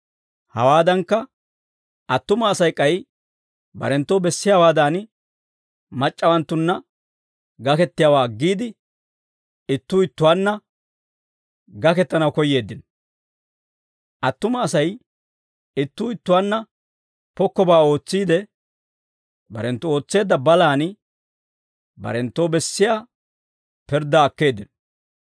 Hawaadankka, attuma Asay k'ay barenttoo bessiyaawaadan mac'c'awanttunna gakettiyaawaa aggiide, ittuu ittuwaanna gakettanaw koyyeeddino; attuma Asay ittuu ittuwaanna pokkobaa ootsiide, barenttu ootseedda balaan barenttoo bessiyaa pirddaa akkeeddino.